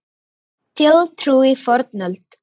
Þjóðtrú í fornöld og nútíð